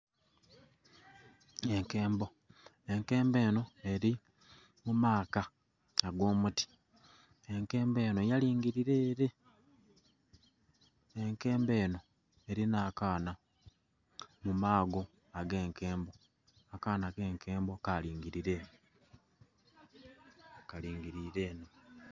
Enkembo enkembo enho eri mu maaka ago muti enkembo enho eringile ere, enkembo enho erina akaana mu mago age enkembo akaana kenkembo kalingilire ere kalingilire ere.